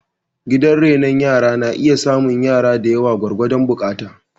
Gidan renon rana na iya samun yara da yawa gwargwadon buƙata